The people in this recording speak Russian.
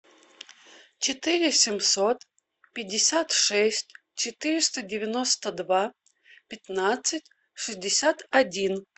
четыре семьсот пятьдесят шесть четыреста девяносто два пятнадцать шестьдесят один